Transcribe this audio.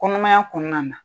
Kɔnɔmaya kɔnɔna na